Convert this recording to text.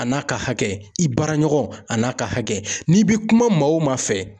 A n'a ka hakɛ, i baraɲɔgɔn a n'a ka hakɛ ,n'i bi kuma o maa fɛ